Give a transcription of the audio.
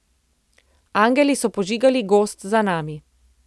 Angeli so požigali gozd za nami.